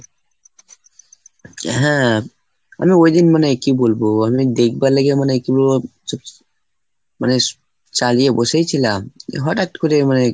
হ্যাঁ. আমি ওইদিন মানে কি বলবো? আমি দেখবার লেগে মানে কি বলবো মানে চালিয়ে বসেই ছিলাম হঠাৎ করে মানে